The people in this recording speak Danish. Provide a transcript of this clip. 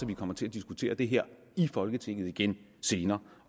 vi kommer til at diskutere det her i folketinget igen